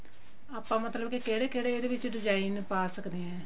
ਆਪਾਂ ਮਤਲਬ ਕੇ ਕਿਹੜੇ ਕਿਹੜੇ ਇਹਦੇ ਵਿੱਚ design ਪਾ ਸਕਦੇ ਹਾਂ